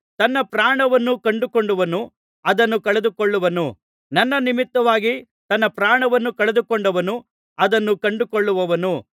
ತನ್ನ ಪ್ರಾಣವನ್ನು ಕಂಡುಕೊಂಡವನು ಅದನ್ನು ಕಳೆದುಕೊಳ್ಳುವನು ನನ್ನ ನಿಮಿತ್ತವಾಗಿ ತನ್ನ ಪ್ರಾಣವನ್ನು ಕಳೆದುಕೊಂಡವನು ಅದನ್ನು ಕಂಡುಕೊಳ್ಳುವನು